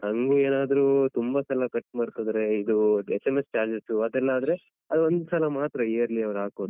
ಹಂಗ್ ಏನಾದ್ರೂ ತುಂಬ ಸಲ cut ಮಾಡ್ತಿದ್ರೆ ಇದು SMS charges ಅದೆಲ್ಲ ಆದ್ರೆ ಅದ್ ಒಂದ್ಸಲ ಮಾತ್ರ yearly ಅವ್ರು ಹಾಕೋದು.